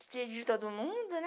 Despedir de todo mundo, né?